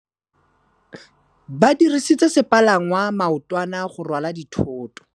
Ba dirisitse sepalangwasa maotwana go rwala dithôtô.